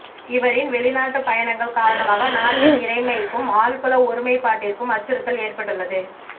இவரின் வெளிநாட்டு பயணங்கள் காரணமாக நாட்டின் இறைமைக்கும் ஆள்புல ஒருமைப்பாட்டிற்கும் அச்சுறுத்தல் ஏற்பட்டுள்ளது